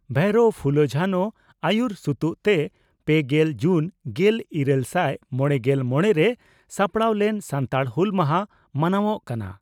ᱵᱷᱟᱭᱨᱚ ᱯᱷᱩᱞᱚ ᱡᱷᱟᱱᱚ ᱟᱹᱭᱩᱨ ᱥᱩᱛᱩᱜ ᱛᱮ ᱯᱮᱜᱮᱞ ᱡᱩᱱ ᱜᱮᱞ ᱤᱨᱟᱹᱞᱥᱟᱭ ᱢᱚᱲᱮᱜᱮᱞ ᱢᱚᱲᱮ ᱨᱮ ᱥᱟᱯᱲᱟᱣ ᱞᱮᱱ ᱥᱟᱱᱛᱟᱲ ᱦᱩᱞ ᱢᱟᱦᱟ ᱢᱟᱱᱟᱣᱜ ᱠᱟᱱᱟ ᱾